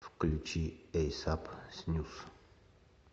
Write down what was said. включи эйсап снюс